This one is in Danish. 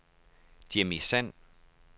Jimmi Sand